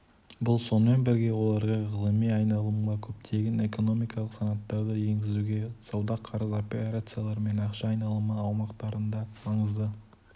бұл сонымен бірге оларға ғылыми айналымға көптеген экономикалық санаттарды еңгізуге сауда қарыз операциялары мен ақша айналымы аумақтарында маңызды